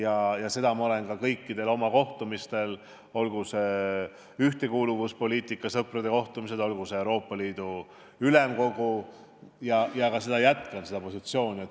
Seda olen ma öelnud ka kõikidel oma kohtumistel – olgu need ühtekuuluvuspoliitika sõprade kohtumised, olgu need Euroopa Ülemkogu kohtumised – ja ma ka jätkan seda rida.